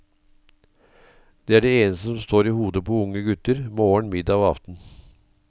Det er det eneste som står i hodet på unge gutter, morgen, middag og aften.